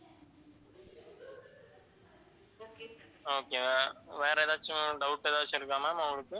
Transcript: okayma'am வேற எதாச்சும் doubt ஏதாச்சும் இருக்கா ma'am உங்களுக்கு